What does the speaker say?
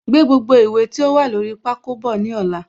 Gbé gbogbo ìwé tí ó wà lórí pákó bọ̀ ní ọ̀la